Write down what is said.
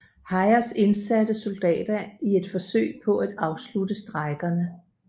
Hayes indsatte soldater i et forsøg på at afslutte strejkerne